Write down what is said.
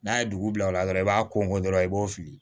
N'a ye dugu bila o la dɔrɔn i b'a kɔn dɔrɔn i b'o fili